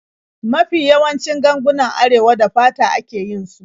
Mafi yawancin gangunan Arewa da fata ake yin su.